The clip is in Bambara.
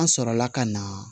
An sɔrɔla ka na